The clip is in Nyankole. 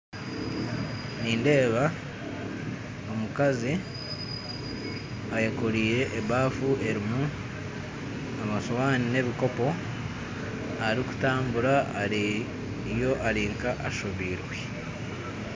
Nindeeba omukazi ayekooreire ebafu erimu amashoni n'ebikopo arikutambura ari nkariyo ashobeirwe